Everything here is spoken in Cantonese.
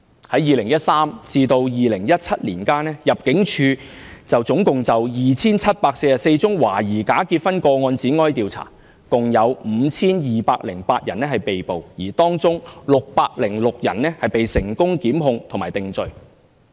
於2013年至2017年間，入境處共就 2,744 宗懷疑假結婚個案展開調查，共有 5,208 人被捕，而當中606人被成功檢控和定罪。